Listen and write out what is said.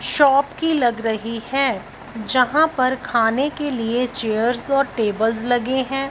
Shop की लग रही है जहां पर खाने के लिए चेयर्स और टेबल्स लगे हैं।